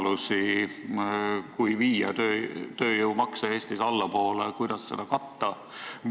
Kui Eestis viia tööjõumakse allapoole, kas te näete mingeid muid võimalusi, kuidas seda katta?